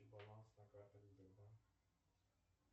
баланс на карте сбербанк